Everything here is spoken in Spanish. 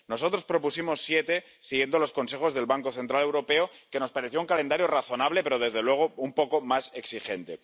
Nosotros propusimos siete, siguiendo los consejos del Banco Central Europeo, pues nos parecía un calendario razonable pero, desde luego, un poco más exigente.